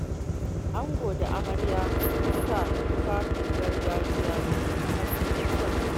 Ango da amarya sun sanya tufafin gargajiya kuma sun yi kyau